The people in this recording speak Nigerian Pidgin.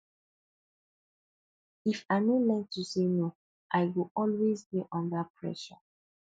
if i no learn to say no i go always dey under pressure